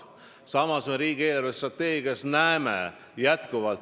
Samas me näeme jätkuvalt, et riigi eelarvestrateegias on linnahalli investeerimine riigi poolt kirjas.